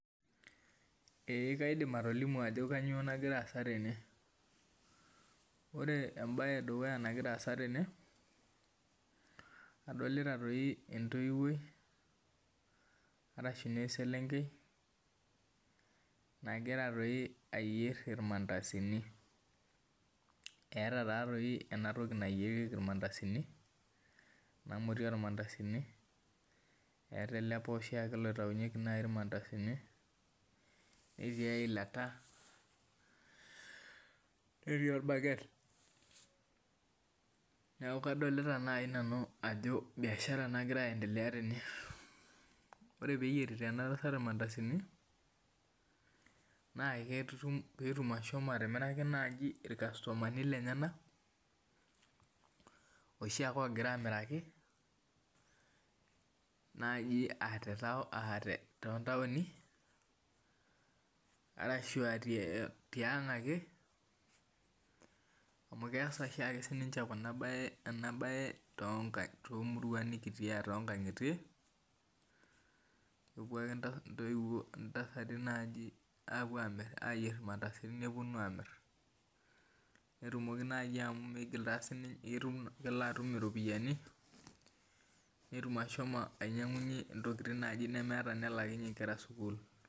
Ee kaidim atolimu ajo kanyio nagira aasa tene ore embae edukuya nagira aasa tene na adolta entoiwoi arashu eselenkei nagira ayier irmandasani eeta enatoki nayierieki irmandasani eeta ele poshie oyieriki irmandasani netiibeilata netii orbaket neaku kadolta nai ajo biashara nagira aendelea tene ore peyierita enatasat irmandasani na petumoki atimiraki irkastomani lenyenak oshiake ogira amiraki tontauni arashu aa tiang ake amu keasa oshiake enabae tonkangitie kepuo ake ntasati apuo ayier irmandasani neponu amir netumoki na amu kelo atum iropiyiani netum ashomo ainyangunyie ntokitin nemeeta nelakinye nkera sukul.